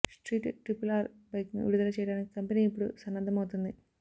street triple R బైక్ను విడుదల చేయడానికి కంపెనీ ఇప్పుడు సన్నద్ధమవుతోంది